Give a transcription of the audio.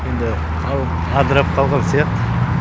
енді халық адырап қалған сияқты